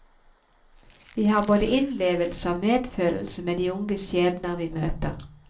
Vi har både innlevelse og medfølelse med de unge skjebner vi møter.